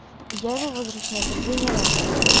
я его возвращаю последний раз